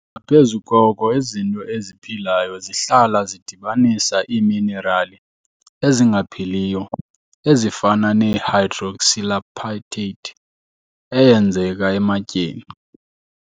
Ngaphezu koko, izinto eziphilayo zihlala zidibanisa iiminerali ezingaphiliyo, ezifana ne-hydroxylapatite, eyenzeka ematyeni.